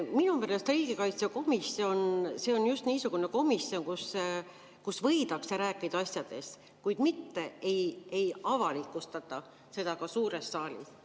Minu meelest on riigikaitsekomisjon just niisugune komisjon, kus võidakse asjadest rääkida, kuid mitte ei avalikustata seda suures saalis.